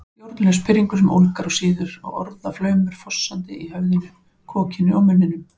Stjórnlaus pirringur sem ólgar og sýður og orðaflaumur fossandi í höfðinu, kokinu, munninum